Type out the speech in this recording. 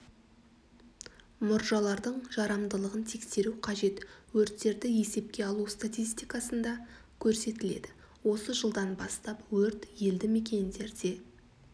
мұржалардың жарамдылығын тексеру қажет өрттерді есепке алу статистикасында көрсетіледі осы жылдан бастап өрт елді мекендерде